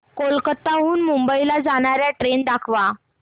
कोलकाता हून मुंबई ला जाणार्या ट्रेन दाखवा